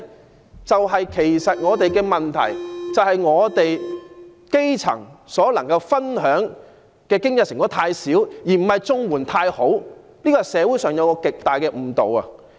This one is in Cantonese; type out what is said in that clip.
我想說的是，本港的問題在於基層所能分享的經濟成果太少，而不是綜援太好，這是社會上一個極大的誤導。